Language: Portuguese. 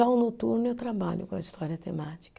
Já o noturno eu trabalho com a história temática.